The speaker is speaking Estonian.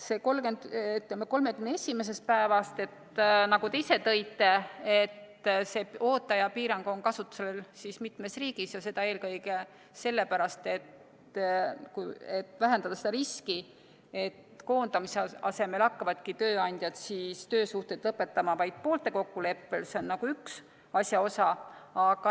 31. päevast, nagu te ise tõite, see ooteaja piirang on kasutusel mitmes riigis ja seda eelkõige sellepärast, et vähendada riski, et koondamise asemel hakkavad tööandjad töösuhteid lõpetama vaid poolte kokkuleppel – see on üks asja osa.